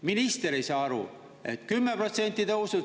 Minister ei saa aru, et 10% tõusu.